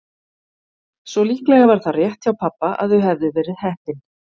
Svo líklega var það rétt hjá pabba að þau hefðu verið heppin.